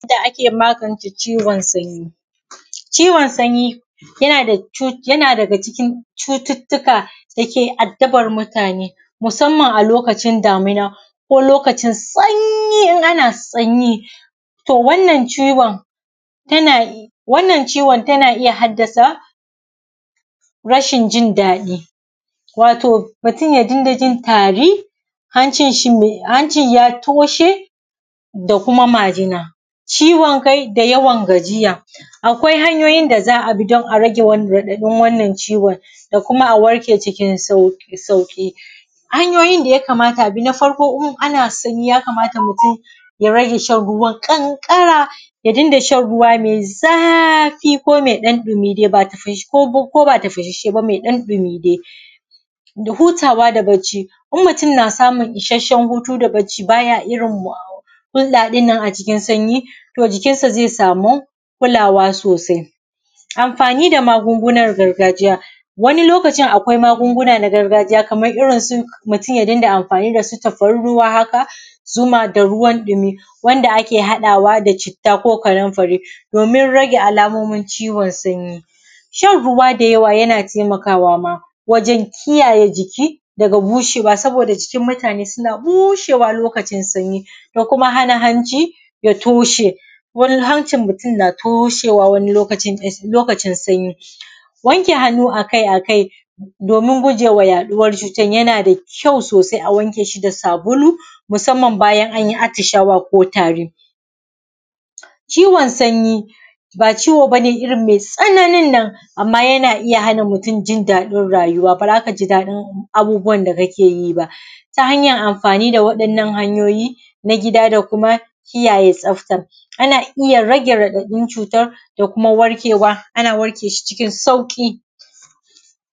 Yadda ake magance ciwon sanyi, ciwon sanyi yana daga ciki cututtuka dake addabar mutane. Musamman a lokacin damina ko lkacin sanyi in ana sanyi. To wannan ciwon wannan ciwon tana haddasa, rsahin jin daɗi, wato mutm ya dinga jin tari, hanci ya toshe, da kuma majina, ciwon kai da yawan gajiya. Akwai hanyoyin da za a bi domin rage raɗaɗin wannan ciwon da kuma a warke cikin sauƙi. Hanyoyin da yakamata a bi, na farko, in ana sanyi yakamata mutum ya rage shan ƙanƙara, ya dinga shan ruwa mai zafi ko ɗan ɗumi dai ko ba tafashassheba mai ɗan ɗumi dai. Hutawa da bacci, in mutum na samu ishassen hutu da bacci, bay a irin hulɗa ɗin nan a cikin sanyi, to jikin sa zai sami kulawa sosai. Amfani da makungunan dargajiya, wani lokacin akwai magunguna na gargajiya kamar irin su, mutum ya dinga amfani da su tafarnuwa haka, zuma da ruwa ɗumi, wanda ake haɗawa da citta ko kanumfari domin rage alamomin ciwon sanyi. Shan ruwa da yawa yana taimakawa ma, wajen kiyaye jiki daga bushewa, saboda jikinmutane suna bushewa lokacin sanyi. Da kuma hana hanji ya toshe, wurin hancin mutum na toshewa lokacin sanyi. Wanke hanu a kai a kai domin gujewa yaɗuwa cutar yana da kyau sosai a wanke shi da sabulu, musamman bayan an yi atishawa ko tari. Ciwon sanyi ba ciwo ba ne irin mai tsananin nan, amma yana hana mutum jin daɗin rayuwa ba z aka ji daɗin abubuwan da ka ke yi ba. Ta hanyan amfani abubuwa na gida da kiyaye tsafta, ana iya rage raɗaɗin cutar da kuma da kuma warkewa ana warkewa cikin sauƙi.